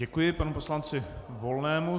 Děkuji panu poslanci Volnému.